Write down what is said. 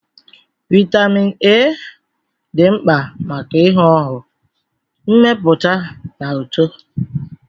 Vitamin A dị mkpa maka ihu ọhụụ, mmepụta na uto